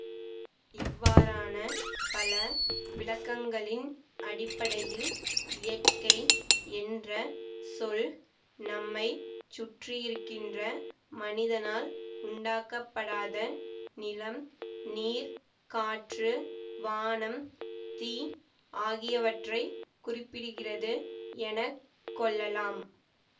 இவ்வாறான பல விளக்கங்களின் அடிப்படையில் இயற்கை என்ற சொல் நம்மை சுற்றியிருக்கின்ற மனிதனால் உண்டாக்கப்படாத நிலம் நீர் காற்று வானம் தீ ஆகியவற்றை குறிப்பிடுகிறது என கொள்ளலாம்